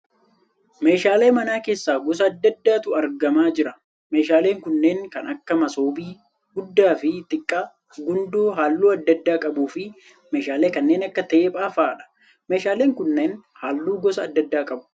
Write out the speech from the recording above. Meeshaalee mana keessaa gosa adda addaatu argamaa jira. Meeshaaleen kunneen kan akka masoobii guddaa fi xiqqaa, gundoo halluu adda addaa qabuu fi meeshaalee kanneen akka teephaa fa'aadha. Meeshaaleen kunneen halluu gosa adda addaa qabu.